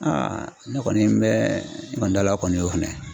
ne kɔni n bɛ dala o kɔni y'o fɛnɛ